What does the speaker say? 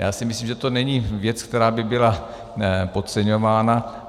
Já si myslím, že to není věc, která by byla podceňována.